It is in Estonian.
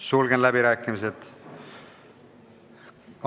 Sulgen läbirääkimised.